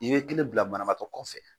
I be kelen bila banabaatɔ kɔfɛ.